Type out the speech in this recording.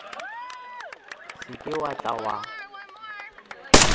se ke wa tla wa